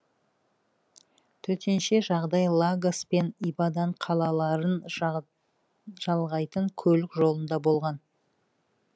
төтенше жағдай лагос пен ибадан қалаларын жалғайтын көлік жолында болған